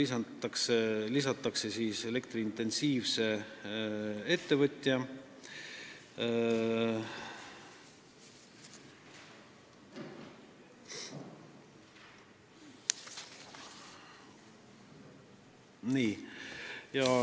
Sinna lisataks elektrointensiivne ettevõtja.